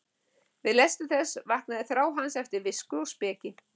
Við lestur þess vaknaði þrá hans eftir visku og speki.